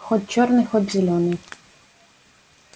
хоть чёрный хоть зелёный